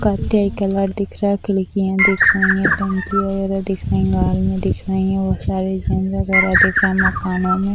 कत्थे कलर दिख रहा है खिड़कियां दिख रही हैं टंकी वगेरा दिख रही दिख रही हैं मकानों में।